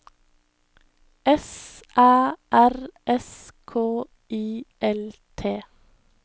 S Æ R S K I L T